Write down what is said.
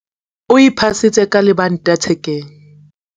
o iphasitse ka lebanta thekeng